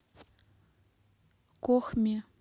кохме